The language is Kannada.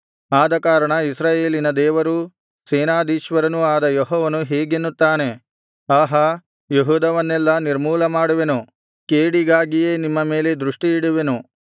ಆದಕಾರಣ ಇಸ್ರಾಯೇಲಿನ ದೇವರೂ ಸೇನಾಧೀಶ್ವರನು ಆದ ಯೆಹೋವನು ಹೀಗೆನ್ನುತ್ತಾನೆ ಆಹಾ ಯೆಹೂದವನ್ನೆಲ್ಲಾ ನಿರ್ಮೂಲಮಾಡುವೆನು ಕೇಡಿಗಾಗಿಯೇ ನಿಮ್ಮ ಮೇಲೆ ದೃಷ್ಟಿಯಿಡುವೆನು